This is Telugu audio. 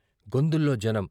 గొందుల్లో జనం.